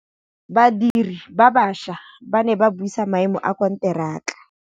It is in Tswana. Badiri ba baša ba ne ba buisa maêmô a konteraka.